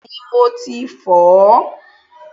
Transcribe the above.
Bẹ́ẹ̀ni, mo ti fọ̀ọ́.